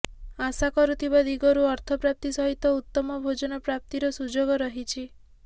ଆଶା କରୁଥିବା ଦିଗରୁ ଅର୍ଥପ୍ରାପ୍ତି ସହିତ ଉତ୍ତମ ଭୋଜନ ପ୍ରାପ୍ତିର ସୁଯୋଗ ରହିଛି